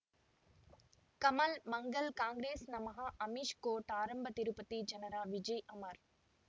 ಕಮಲ್ ಮಂಗಳ್ ಕಾಂಗ್ರೆಸ್ ನಮಃ ಅಮಿಷ್ ಕೋರ್ಟ್ ಆರಂಭ ತಿರುಪತಿ ಜನರ ವಿಜಯ್ ಅಮರ್